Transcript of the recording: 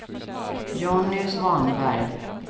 Jonny Svanberg